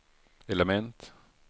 element